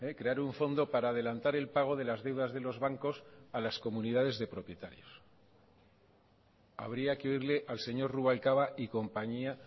crear un fondo para adelantar el pago de las deudas de los bancos a las comunidades de propietarios habría que oírle al señor rubalcaba y compañía